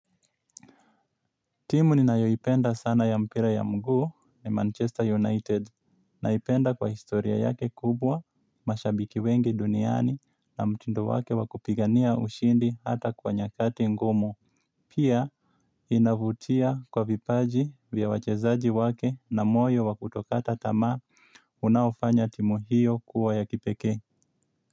Timu ninayoipenda sana ya mpira ya mguu ni Manchester United. Naipenda kwa historia yake kubwa, mashabiki wengi duniani na mtindo wake wakupigania ushindi hata kwa nyakati ngumu. Pia inavutia kwa vipaji vya wachezaji wake na moyo wa kutokata tamaa unaofanya timu hiyo kuwa ya kipekee.